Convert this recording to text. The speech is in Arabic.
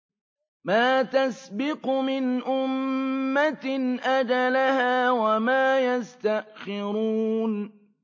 مَا تَسْبِقُ مِنْ أُمَّةٍ أَجَلَهَا وَمَا يَسْتَأْخِرُونَ